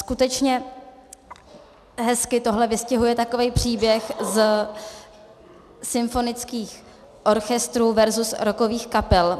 Skutečně hezky tohle vystihuje takový příběh ze symfonických orchestrů versus rockových kapel.